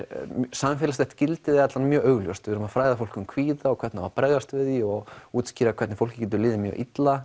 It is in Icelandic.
samfélagslegt gildi er mjög augljóst við erum að fræða fólk um kvíða og hvernig á að bregðast við því og útskýra hvernig fólki getur liðið mjög illa